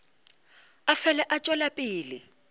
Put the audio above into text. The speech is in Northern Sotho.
a fele a tšwela pele